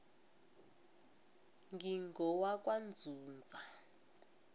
ngingowakwanzunza